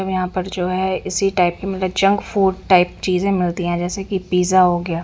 हमें यहां पर जो है इसी टाइप में मतलब जंक फूड टाइप चीजे मिलती है जैसे कि पिज़्ज़ा हो गया--